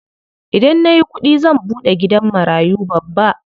Idan nayi kuɗi zan buɗe gidan marayu babba.